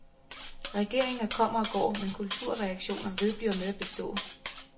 Regeringer kommer og går, men kulturredaktioner vedbliver med at bestå.